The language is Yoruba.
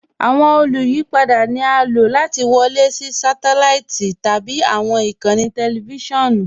Awọn olùyìpada ni a ló láti wọlé sí sátẹláìtì tabi awọn ikànńí tẹlifisiọnu.